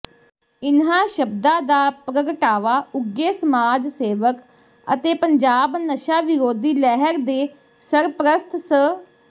ਇੰਨ੍ਹਾਂ ਸ਼ਬਦਾ ਦਾ ਪ੍ਰਗਟਾਵਾ ਉੱਘੇ ਸਮਾਜ ਸੇਵਕ ਅਤੇ ਪੰਜਾਬ ਨਸ਼ਾ ਵਿਰੋਧੀ ਲਹਿਰ ਦੇ ਸਰਪ੍ਰਸਤ ਸ